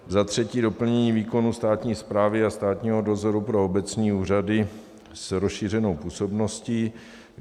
Za třetí doplnění výkonu státní správy a státního dozoru pro obecní úřady s rozšířenou působností.